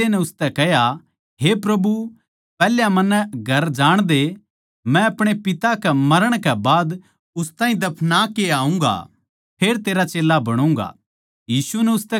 एक और चेल्लै नै उसतै कह्या हे प्रभु पैहले मन्नै घर जाणदे मै अपणे पिता के मरण कै बाद उस ताहीं दफना के आऊँगा फेर तेरा चेल्ला बणुगाँ